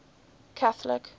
catholic